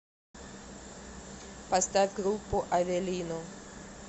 поставь группу авелино